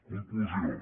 conclusió